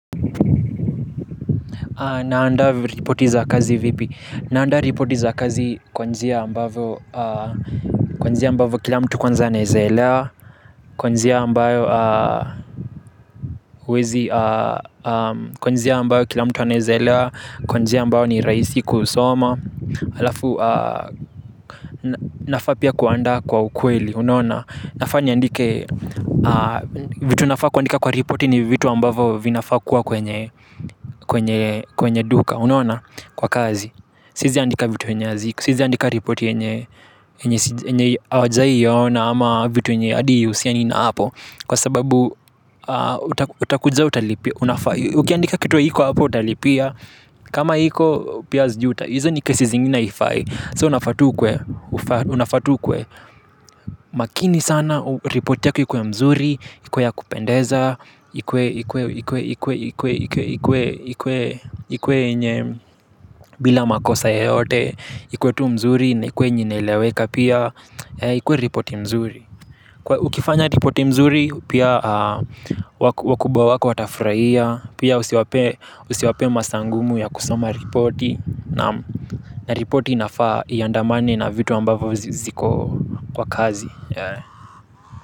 Naanda ripoti za kazi vipi? Naanda ripoti za kazi kwa njia ambavo kila mtu kwanza anaweza elewa kwa njia ambayo kila mtu aneza elewa, kwa njia ambayo ni rahisi kusoma alafu nafaa pia kuandaa kwa ukweli unaona nafaa niandike. Vitu nafaa kuandika kwa ripoti ni vitu ambavo vinafaa kuwa kwenye kwenye duka. Unaona kwa kazi siezi andika vitu yenye hazi siezi andika ripoti yenye yenye hawajai iona ama vitu yenye hadi ihusiani na hapo. Kwa sababu utakuja utalipia. Unafaa ukiandika kitu haiko hapo utalipia. Kama haiko pia sijui uta izo ni kesi zingine haifai So una faa tu ukuwe maakini sana ripoti yaku ikuwe mzuri, ikuwe ya kupendeza, ikuwe yenye bila makosa yeyote, ikuwe tu mzuri na ikuwe yenye inaeleweka pia, ikuwe ripoti mzuri. Ukifanya ripoti mzuri pia wakubwa wako watafurahia pia usiwapee masaa ngumu ya kusoma ripoti naam na ripoti inafaa iandamane na vitu ambavyo ziko kwa kazi.